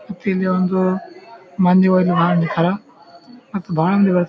ಮತ್ತು ಇಲ್ಲಿ ಒಂದು ಮಂದಿ ಓರೀ ಬಾಳ್ ನಿಂತರ್ ಮತ್ತು ಬಾಳ್ ಮಂದಿ ಬರ್--